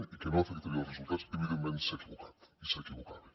i que no afectaria els resultats evidentment s’ha equivocat i s’equivocava